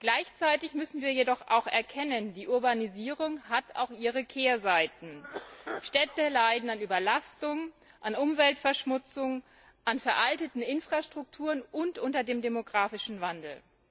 Gleichzeitig müssen wir jedoch auch erkennen, dass die Urbanisierung auch ihre Kehrseiten hat Städte leiden an Überlastung, an Umweltverschmutzung, an veralteten Infrastrukturen und unter dem demografischen Wandel.